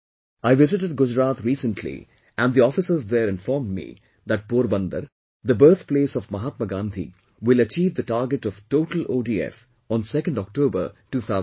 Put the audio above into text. I visited Gujarat recently and the officers there informed me that Porbandar, the birth place of Mahatma Gandhi, will achieve the target of total ODF on 2nd October, 2016